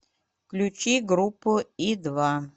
включи группу и два